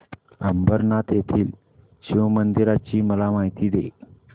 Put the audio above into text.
अंबरनाथ येथील शिवमंदिराची मला माहिती दे